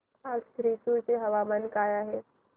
आज थ्रिसुर चे हवामान काय आहे